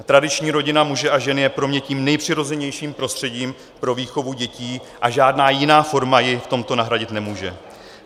Tradiční rodina muže a ženy je pro mě tím nejpřirozenějším prostředím pro výchovu dětí a žádná jiná forma ji v tomto nahradit nemůže.